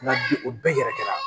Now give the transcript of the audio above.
Nka bi o bɛɛ yɛrɛ kɛra